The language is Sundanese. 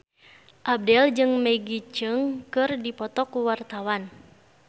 Abdel jeung Maggie Cheung keur dipoto ku wartawan